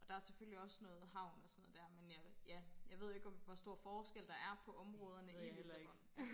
Og der selvfølgelig også noget havn og sådan noget der men jeg ja jeg ved jo ikke hvor stor forskel der er på områderne i Lissabon